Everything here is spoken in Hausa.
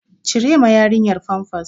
Cire ma yarinyar famfas!